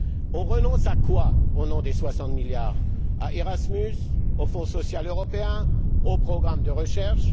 On renonce à quoi au nom des 60 milliards à Erasmus, au Fonds social européen, aux programmes de recherche?